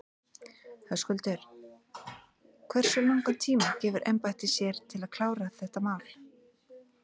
Höskuldur: Hversu langan tíma gefur embættið sér til þess að klára þetta mál?